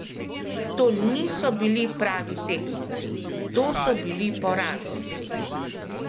To niso bili pravi tekmeci, to so bili poraženci!